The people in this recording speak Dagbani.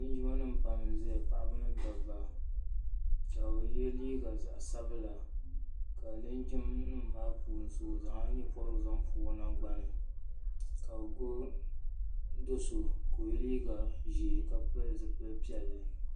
linjima nim pam n ʒɛya paɣaba ni dabba ka bi yɛ liiga zaɣ sabila ka linjin nim maa puuni so o zaŋla nyɛ pobirigu zaŋ pobi o nangbani ka bi gbubi do so ka o yɛ liiga ʒiɛ ka pili zipili piɛlli